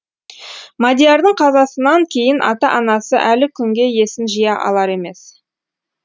мадиярдың қазасынан кейін ата анасы әлі күнге есін жия алар емес